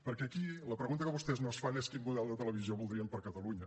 perquè aquí la pregunta que vostès no es fan és quin model de televisió voldríem per a catalunya